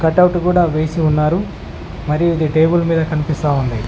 వేసి ఉన్నారు మరియు ఇది టేబుల్ మీద కనిపిస్తోంది.